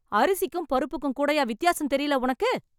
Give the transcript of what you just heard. அரிசிக்கும் பருப்புக்கும் கூடயா வித்தியாசம் தெரியல உனக்கு ?